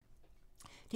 DR2